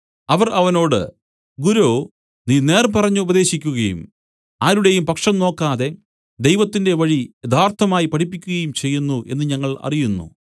അവർ അവനോട് ഗുരോ നീ നേർ പറഞ്ഞു ഉപദേശിക്കുകയും ആരുടെയും പക്ഷം നോക്കാതെ ദൈവത്തിന്റെ വഴി യഥാർത്ഥമായി പഠിപ്പിക്കയും ചെയ്യുന്നു എന്നു ഞങ്ങൾ അറിയുന്നു